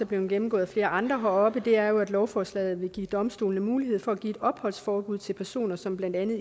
blevet gennemgået af flere andre heroppe er jo at lovforslaget vil give domstolene mulighed for at give et opholdsforbud til personer som blandt andet